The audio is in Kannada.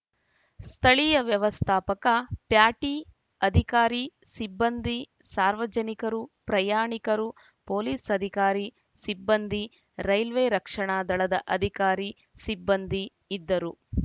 ಸ್ಥಳೀಯ ವ್ಯವಸ್ಥಾಪಕ ಪ್ಯಾಟಿ ಅಧಿಕಾರಿ ಸಿಬ್ಬಂದಿ ಸಾರ್ವಜನಿಕರು ಪ್ರಯಾಣಿಕರು ಪೊಲೀಸ್‌ ಅಧಿಕಾರಿ ಸಿಬ್ಬಂದಿ ರೈಲ್ವೆ ರಕ್ಷಣಾ ದಳದ ಅಧಿಕಾರಿ ಸಿಬ್ಬಂದಿ ಇದ್ದರು